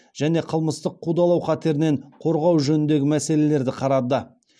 және қылмыстық қудалау қатерінен корғау жөніндегі мәселелерді қарады